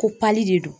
Ko pali de do